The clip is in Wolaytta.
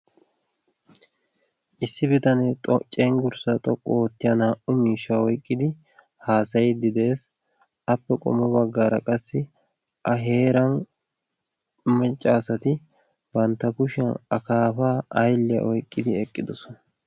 issi bitanee cenggurssaa xoqqu oottiya naa'u miishsha oyqqidi haasayiddi de'ees. appe qomo baggaara qassi a heeran maccaasati bantta kushiyan a kaafaa aylliyaa oyqqidi eqqidosona.